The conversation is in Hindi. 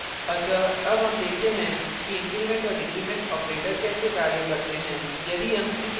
अतः अब हम देखते हैं कि increment और decrement operator कैसे कार्य करते हैं